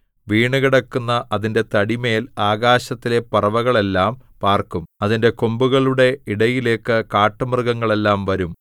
വീണുകിടക്കുന്ന അതിന്റെ തടിമേൽ ആകാശത്തിലെ പറവകളെല്ലാം പാർക്കും അതിന്റെ കൊമ്പുകളുടെ ഇടയിലേക്ക് കാട്ടുമൃഗങ്ങളെല്ലാം വരും